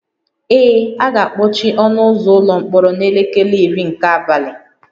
Ee, a ga-akpọchi ọnụ ụzọ ụlọ mkpọrọ n'elekere iri nke abalị